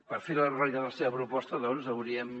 per fer realitat la seva proposta doncs hauríem